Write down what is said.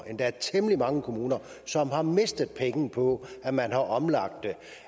endda temmelig mange kommuner som har mistet penge på at man har omlagt det